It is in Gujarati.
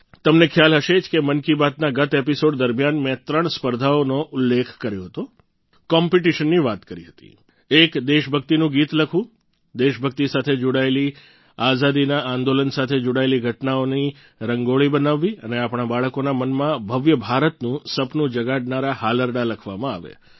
તમને ખ્યાલ હશે કે મન કી બાતના ગત એપિસોડ દરમિયાન મેં ત્રણ સ્પર્ધાઓનો ઉલ્લેખ કર્યો હતો કોમ્પિટિશનની વાત કહી હતી એક દેશભક્તિનું ગીત લખવું દેશભક્તિ સાથે જોડાયેલી આઝાદીના આંદોલન સાથે જોડાયેલી ઘટનાઓની રંગોળી બનાવવી અને આપણા બાળકોના મનમાં ભવ્ય ભારતનું સપનું જગાડનારા હાલરડાં લખવામાં આવે